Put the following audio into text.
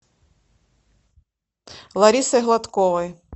ларисой гладковой